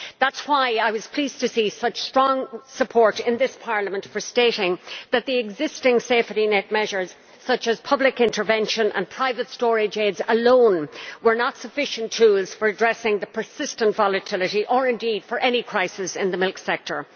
That is why I was pleased to see such strong support in this Parliament for stating that the existing safety net measures alone such as public intervention and private storage aids were not sufficient tools for addressing the persistent volatility or indeed for any crisis in the milk sector.